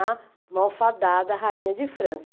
A malfadada rainha de França.